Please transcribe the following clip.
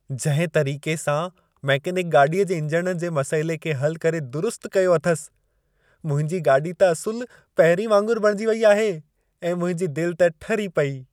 जंहिं तरीक़े सां मैकेनिक गाॾीअ जे इंजण जे मसइले खे हलु करे दुरुस्तु कयो अथसि, मुंहिंजी गाॾी त असुलु पहिरीं वांगुरु बणिजी वेई आहे ऐं मुंहिंजी दिलि त ठरी पेई।